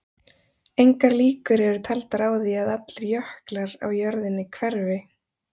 Engar líkur eru taldar á því að allir jöklar á jörðinni hverfi.